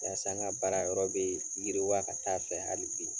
Yalasa n ka baara yɔrɔ be yiriwa ka taa fɛ hali bi .